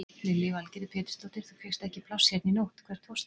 Lillý Valgerður Pétursdóttir: Þú fékkst ekki pláss hérna í nótt, hvert fórstu?